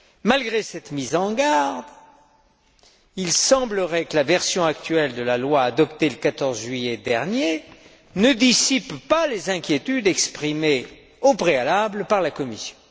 Malgré cette mise en garde, il semblerait que la version actuelle de la loi adoptée le 14 juillet dernier ne dissipe pas les inquiétudes exprimées au préalable par la Commission.